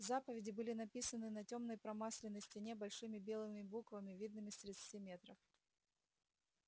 заповеди были написаны на тёмной промасленной стене большими белыми буквами видными с тридцати метров